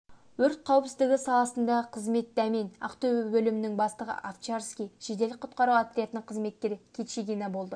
өрт қауіпсіздігі саласындағы қызмет дәмен ақтөбе бөлімінің бастығы овчарский жедел құтқару отрядының қызметкері кичигина болды